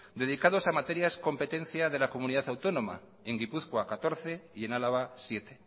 dedicados a materias competencia de la comunidad autónoma en gipuzkoa catorce y en álava siete